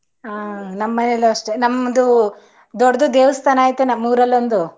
ಹ ನಮ್ಮನೇಲು ಅಷ್ಟೇ ನಮ್ಮದು ದೊಡ್ಡು ದೇವಸ್ತಾನ ಆಯತೇ ನಮ್ಮೂರಲೊಂದು